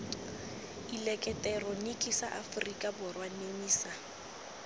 eleketeroniki sa aforika borwa nemisa